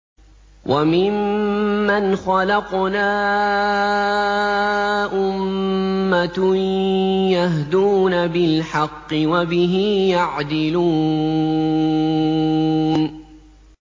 وَمِمَّنْ خَلَقْنَا أُمَّةٌ يَهْدُونَ بِالْحَقِّ وَبِهِ يَعْدِلُونَ